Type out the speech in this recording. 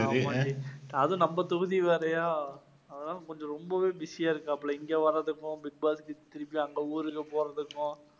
அது நம்ப தொகுதி வேலையா அது தான் கொஞ்சம் ரொம்பவே பிஸியா இருக்காப்பல இங்க வர்றதுக்கும் பிக் பாஸ்க்கு திருப்பி அங்க ஊருக்கு போறதுக்கும்